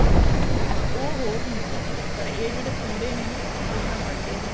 ਹਾਂ ਉਹ ਹੋਰ ਹੁੰਦੀਆਂ ਨੇ ਪਰ ਇਹ ਜਿਹੜੇ ਪੁੜੇ ਨੇ ਨਾ ਇਹ ਤਾਂ ਬਣਦੇ ਹੀ